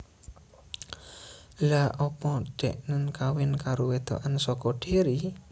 Lha opo deknen kawin karo wedokan soko Derry